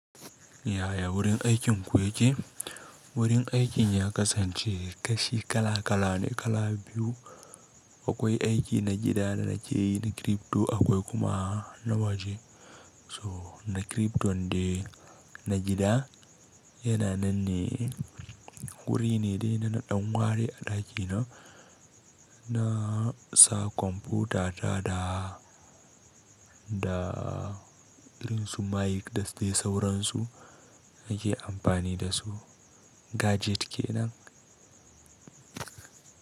Yaya wurin aikin ku yake? Wurin aikin ya kasance kashi kala kala ne kala biyu. Akwai aiki na gida da nake yi na crypto akwai kuma na waje. Toh na crypton dai na gida yana nan ne wuri ne dai da na ɗan ware a ɗaki na, na sa kwamfuta ta da, da irin su mic da dai sauransu nake amfani da su. Gadget kenan.